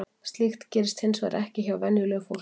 Slíkt gerist hins vegar ekki hjá venjulegu fólki.